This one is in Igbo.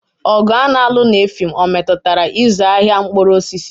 Ọgụ a na-alụ na Effium ọ metụtara ịzụ ahịa mkpụrụ osisi?